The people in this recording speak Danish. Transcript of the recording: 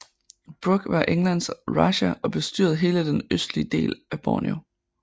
Brooke var Englands Rajah og bestyrede hele den østlige del af Borneo